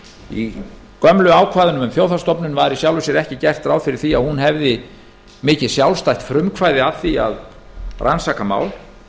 í gömlu ákvæðunum um þjóðhagsstofnun var í sjálfu sér ekki gert ráð fyrir því að hún hefði mikið sjálfstætt frumkvæði að því að rannsaka mál